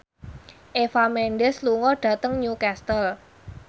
Eva Mendes lunga dhateng Newcastle